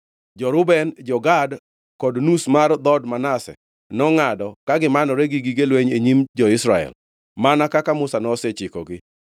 Jo-Reuben, jo-Gad kod nus mar dhood Manase nongʼado ka gimanore gi gige lweny e nyim jo-Israel, mana kaka Musa nosechikogi.